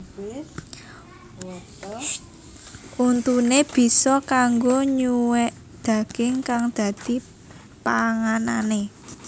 Untuné bisa kanggo nyuwèk daging kang dadi panganané